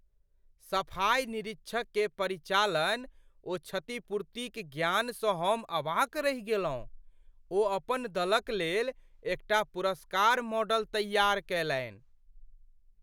सफाइ निरीक्षक केर परिचालन ओ क्षतिपूर्तिक ज्ञानसँ हम अवाक रहि गेल छलहुँ। ओ अपन दलक लेल एकटा पुरस्कार मॉडल तैयार कयलनि।